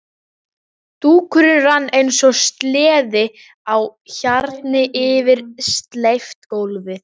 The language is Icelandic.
Dúkurinn rann eins og sleði á hjarni yfir steypt gólfið.